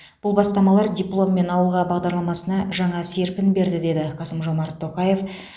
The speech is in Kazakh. бұл бастамалар дипломммен ауылға бағдарламасына жаңа серпін берді деді қасым жомарт тоқаев